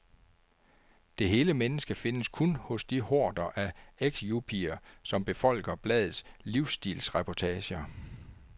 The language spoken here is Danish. Det hele menneske findes kun hos de horder af ex-yuppier, som befolker bladets livsstilsreportager.